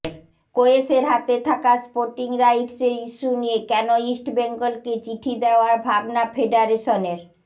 কোয়েসের হাতে থাকা স্পোর্টিং রাইটসের ইস্যু নিয়ে কেন ইস্টবেঙ্গলকে চিঠি দেওয়ার ভাবনা ফেডারেশনের